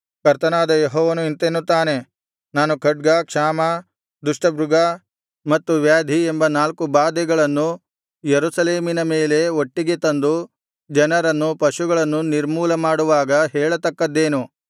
ಕರ್ತನಾದ ಯೆಹೋವನು ಇಂತೆನ್ನುತ್ತಾನೆ ನಾನು ಖಡ್ಗ ಕ್ಷಾಮ ದುಷ್ಟಮೃಗ ಮತ್ತು ವ್ಯಾಧಿ ಎಂಬ ನಾಲ್ಕು ಬಾಧೆಗಳನ್ನು ಯೆರೂಸಲೇಮಿನ ಮೇಲೆ ಒಟ್ಟಿಗೆ ತಂದು ಜನರನ್ನು ಪಶುಗಳನ್ನು ನಿರ್ಮೂಲ ಮಾಡುವಾಗ ಹೇಳತಕ್ಕದ್ದೇನು